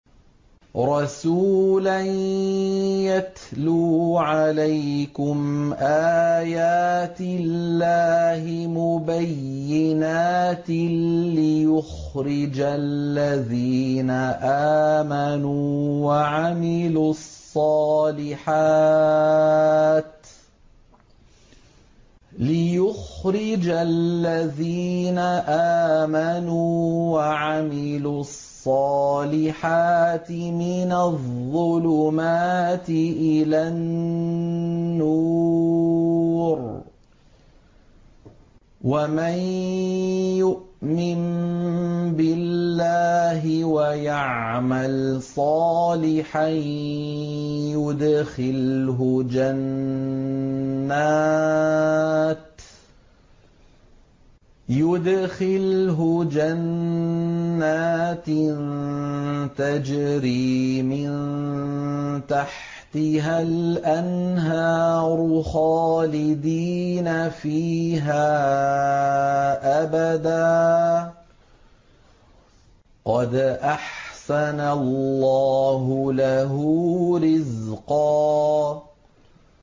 رَّسُولًا يَتْلُو عَلَيْكُمْ آيَاتِ اللَّهِ مُبَيِّنَاتٍ لِّيُخْرِجَ الَّذِينَ آمَنُوا وَعَمِلُوا الصَّالِحَاتِ مِنَ الظُّلُمَاتِ إِلَى النُّورِ ۚ وَمَن يُؤْمِن بِاللَّهِ وَيَعْمَلْ صَالِحًا يُدْخِلْهُ جَنَّاتٍ تَجْرِي مِن تَحْتِهَا الْأَنْهَارُ خَالِدِينَ فِيهَا أَبَدًا ۖ قَدْ أَحْسَنَ اللَّهُ لَهُ رِزْقًا